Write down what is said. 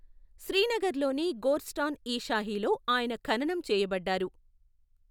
శ్రీనగర్లోని గోర్స్టాన్ ఇ షాహీలో ఆయన ఖననం చేయబడ్డారు.